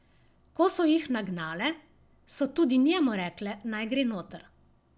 Ko so jih nagnale, so tudi njemu rekle, naj gre noter.